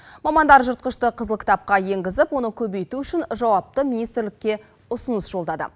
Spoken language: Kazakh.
мамандар жыртқышты қызыл кітапқа енгізіп оны көбейту үшін жауапты министрлікке ұсыныс жолдады